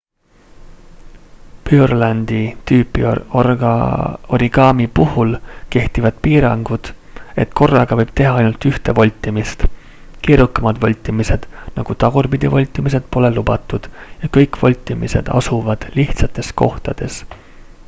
purelandi-tüüpi origami puhul kehtivad piirangud et korraga võib teha ainult ühte voltimist keerukamad voltimised nagu tagurpidi voltimised pole lubatud ja kõik voltimised asuvad lihtsates kohtades